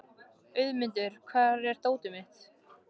Auðmundur, hvar er dótið mitt?